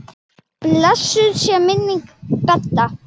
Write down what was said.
Blessuð sé minning Bedda.